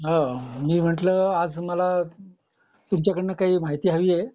मी म्हटलं आज मला तुमच्याकडून काही माहिती हवी आहे